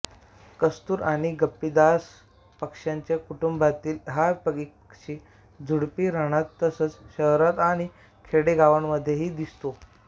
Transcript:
कस्तुर आणि गप्पीदास पक्ष्यांच्या कुटुंबातील हा एक पक्षी झुडपी रानात तसंच शहरात आणि खेडेगावांमध्येही दिसतो